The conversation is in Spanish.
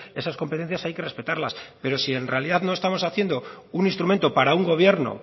esas competencias hay que respetarlas pero si en realidad no estamos haciendo un instrumento para un gobierno